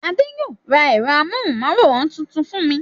Adé yóò ra ẹ̀rọ amóhùmáwòhán tuntun fún mi.